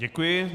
Děkuji.